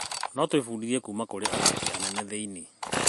No twĩbundithie kuuma kũrĩ athaki anene thĩ-inĩ.